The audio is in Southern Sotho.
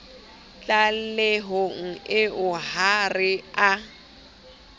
tlalehong eo ha re a